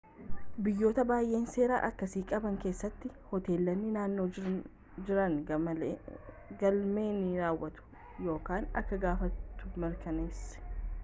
biyyoota baayyee seera akkasii qaban keessatti hoteelonni naannoo jiran galmee ni raawwatu akka gaafattu mirkaneessi